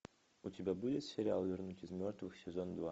у тебя будет сериал вернуть из мертвых сезон два